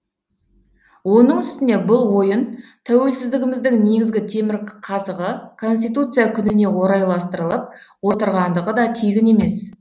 оның үстіне бұл ойын тәуелсіздігіміздің негізгі темірқазығы конституция күніне орайластырылып отырғандығы да тегін емес